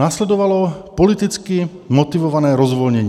Následovalo politicky motivované rozvolnění.